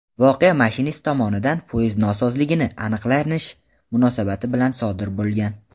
voqea mashinist tomonidan poyezd nosozligini aniqlanish munosabati bilan sodir bo‘lgan.